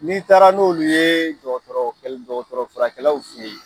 N'i taara n'olu ye jɔgɔtɔrɔ jɔgɔtɔrɔ furakɛlaw fɛ ye